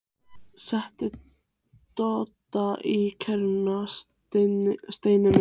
SETTU DODDA Í KERRUNA, STEINI MINN!